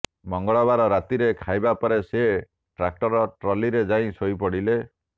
ମଙ୍ଗଳବାର ରାତିରେ ଖାଇବା ପରେ ସେ ଟ୍ରାକ୍ଟର ଟ୍ରଲିରେ ଯାଇ ଶୋଇପଡିଲେ